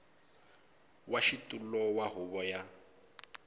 wa xitulu wa huvo ya